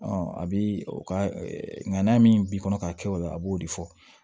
a bɛ o ka nka n'a min b'i kɔnɔ k'a kɛ o la a b'o de fɔ